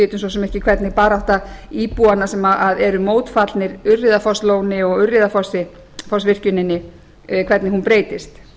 vitum svo sem ekki hvernig barátta íbúanna sem eru mótfallnir urriðafosslóni og urriðafossvirkjuninni breytist